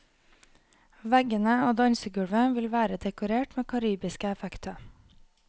Veggene og dansegulvet vil være dekorert med karibiske effekter.